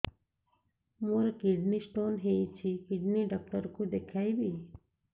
ମୋର kidney stone ହେଇଛି kidney doctor କୁ ଦେଖାଇବି